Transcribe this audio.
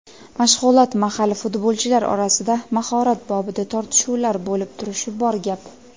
Mashg‘ulot mahali futbolchilar orasida mahorat bobida tortishuvlar bo‘lib turishi bor gap.